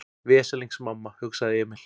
Veslings mamma, hugsaði Emil.